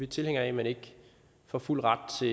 tilhængere af at man ikke får fuld ret til